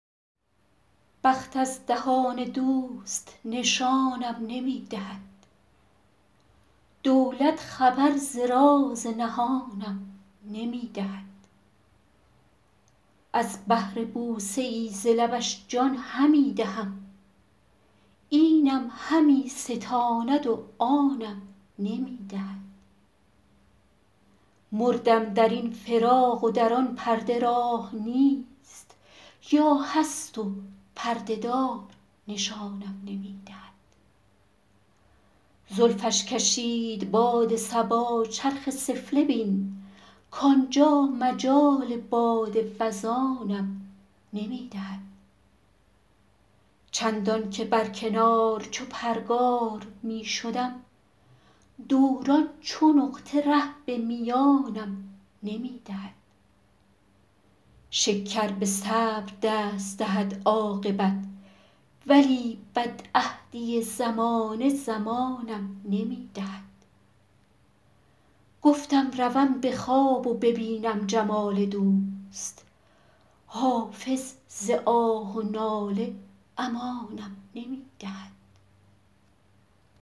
بخت از دهان دوست نشانم نمی دهد دولت خبر ز راز نهانم نمی دهد از بهر بوسه ای ز لبش جان همی دهم اینم همی ستاند و آنم نمی دهد مردم در این فراق و در آن پرده راه نیست یا هست و پرده دار نشانم نمی دهد زلفش کشید باد صبا چرخ سفله بین کانجا مجال باد وزانم نمی دهد چندان که بر کنار چو پرگار می شدم دوران چو نقطه ره به میانم نمی دهد شکر به صبر دست دهد عاقبت ولی بدعهدی زمانه زمانم نمی دهد گفتم روم به خواب و ببینم جمال دوست حافظ ز آه و ناله امانم نمی دهد